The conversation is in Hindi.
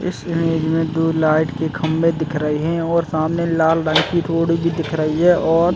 इस इमेज में दो लाइट के खम्बे दिख रहे है और सामने लाल रंग की रोड भी दिख रही है और --